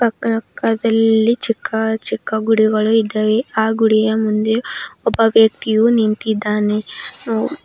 ಪಕ್ಕದಲ್ಲಿ ಚಿಕ್ಕ ಚಿಕ್ಕ ಗುಡಿಗಳು ಇದ್ದಾವೆ ಆ ಗುಡಿಯ ಮುಂದೆ ಒಬ್ಬ ವ್ಯಕ್ತಿಯು ನಿಂತಿದ್ದಾನೆ.